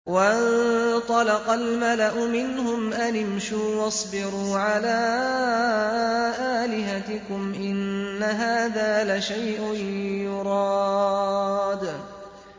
وَانطَلَقَ الْمَلَأُ مِنْهُمْ أَنِ امْشُوا وَاصْبِرُوا عَلَىٰ آلِهَتِكُمْ ۖ إِنَّ هَٰذَا لَشَيْءٌ يُرَادُ